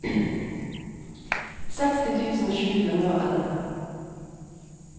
seksti tusen sju hundre og elleve